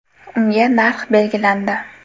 Unga narx belgilandi.